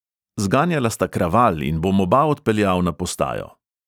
Zganjala sta kraval in bom oba odpeljal na postajo.